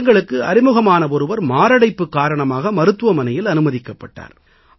எங்களுக்கு அறிமுகமான ஒருவர் மாரடைப்பு காரணமாக மருத்துவமனையில் அனுமதிக்கப்பட்டார்